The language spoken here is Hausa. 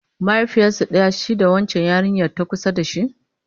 mahaifiyarsu ɗaya shi da wancan yarinyan ta kusa da shi?